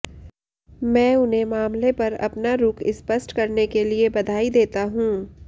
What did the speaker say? मैं उन्हें मामले पर अपना रुख स्पष्ट करने के लिए बधाई देता हूं